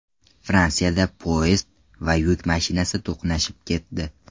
Fransiyada poyezd va yuk mashinasi to‘qnashib ketdi.